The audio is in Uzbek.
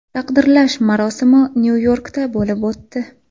Taqdirlash marosimi Nyu-Yorkda bo‘lib o‘tdi.